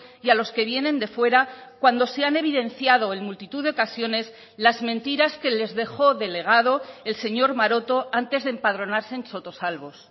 y a los que vienen de fuera cuando se han evidenciado en multitud de ocasiones las mentiras que les dejó delegado el señor maroto antes de empadronarse en sotosalbos